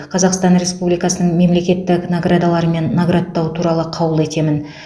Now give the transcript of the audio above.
қазақстан республикасының мемлекеттік наградаларымен наградтау туралы қаулы етемін